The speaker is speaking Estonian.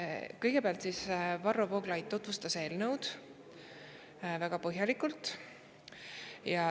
Kõigepealt tutvustas Varro Vooglaid seda eelnõu ja tegi seda väga põhjalikult.